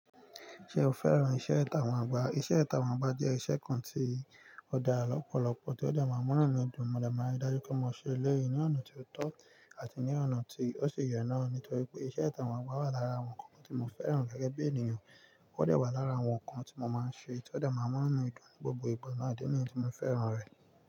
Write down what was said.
Ṣé o fẹ́ràn iṣẹ́ ìtàwà agba? Iṣẹ́ ìtàwà ọgbà jẹ́ iṣẹ́ kan tí ó dá lọ́pọ̀lọpọ̀ tí ó dà máa ń mú ìdùnnú, mo dà máa ń dájú kí n máa ṣe lẹ́yìn ní ọ̀nà tí ó tọ́ àti ní ọ̀nà tí ó ṣi ye na nítorí pé iṣẹ́ ìtàwà ọgbà wà lára àwọn nǹkan tí mo fẹ́ràn gẹ́gẹ́ bí ènìyàn, ó de wà lára àwọn nǹkan tí mo máa ń ṣe tí ó de máa ń mú ìnu mi dun gbogbo ìgbà náà idi ní tí mo fẹ́ràn rẹ̀.